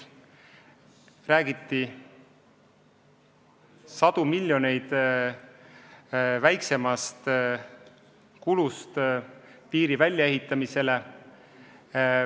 Räägiti sadu miljoneid väiksemast summast, mida piiri väljaehitamine nõuab.